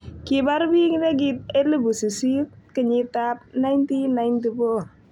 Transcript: Kibaar bik nekit 800,000 kenyitab 1994.